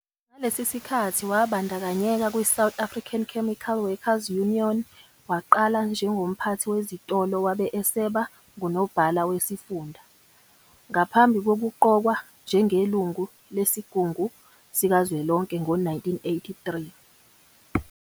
Ngalesi sikhathi, wabandakanyeka kwiSouth African Chemical Workers Union, waqala njengomphathi wezitolo wabe eseba ngunobhala wesifunda, ngaphambi kokuqokwa njengeLungu Lesigungu Sikazwelonke ngo-1983.